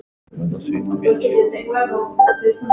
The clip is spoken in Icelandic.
Það skipti víst máli.